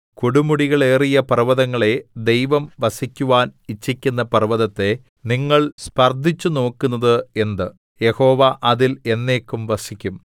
കൊടുമുടികളേറിയ പർവ്വതങ്ങളേ ദൈവം വസിക്കുവാൻ ഇച്ഛിക്കുന്ന പർവ്വതത്തെ നിങ്ങൾ സ്പർദ്ധിച്ചുനോക്കുന്നത് എന്ത് യഹോവ അതിൽ എന്നേക്കും വസിക്കും